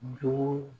Jogo